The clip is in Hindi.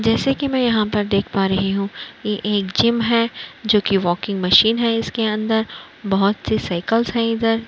जैसे कि मैं यहाँ पर देख पा रही हूं कि ये एक जिम है जोकि वाकिंग मशीन है इसके अंदर बहुत सी साइकिलस हैं इधर --